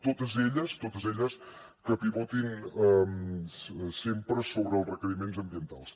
totes elles totes elles que pivotin sempre sobre els requeriments ambientals